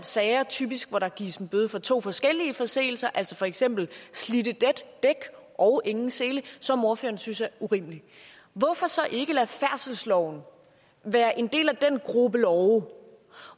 sager typisk hvor der gives en bøde for to forskellige forseelser altså for eksempel slidte dæk og ingen sele som ordføreren synes er urimelig hvorfor så ikke lade færdselsloven være en del af den gruppe love